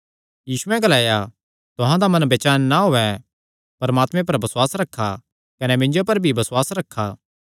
यीशुयैं ग्लाया तुहां दा मन बेचैन ना होयैं परमात्मे पर बसुआस रखा कने मिन्जो पर भी बसुआस रखा